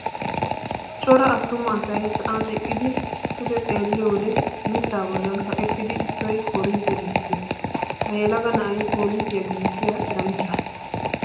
Cora attuma asayi sa"an eqqidi pude xeelliyo wose mitta bollan kaqettidi issoyi koorinttiyaa giigisses. Ha yelaga na"ayi koorinttiyaa giigissiyaa eranchaa.